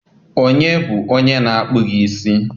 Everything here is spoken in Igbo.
Onye bụ onye na-akpụ gị isi?